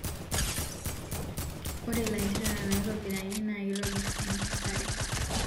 Ore lanterera naitobirakii na kitobir enkesare